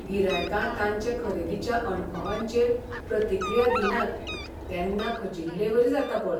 गिरायकां तांचे खरेदीच्या अणभवांचेर प्रतिक्रिया दिनात तेन्ना खचिल्लेवरी जाता पळय.